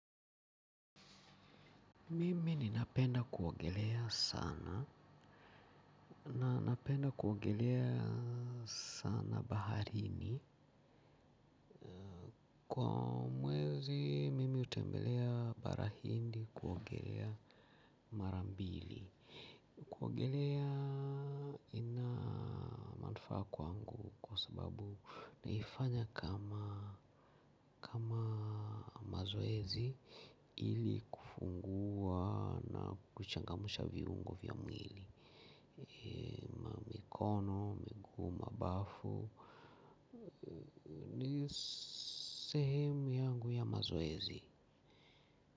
Mimi ninapenda kuogelea sana. Nanapenda kuoegelea sana baharini. Kwa mwezi mimi utembelea barahindi kuogelea marambili. Kuogelea ina manufaa kwa angu kwa sababu naifanya kama mazoezi. Ili kufungua na kuchangamusha viungo vya mwili. Kono, miguu, mabafu sehemu yangu ya mazoezi.